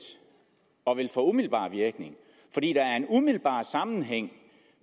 og ville få umiddelbar virkning fordi der er en umiddelbar sammenhæng